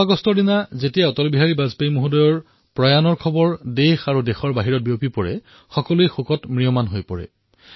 ১৬ আগষ্টত যেতিয়াই দেশ আৰু সমগ্ৰ বিশ্বই অটলজীৰ দেহাৱসানৰ কথা শুনিলে সকলোৱে শোক সাগৰত ডুব গল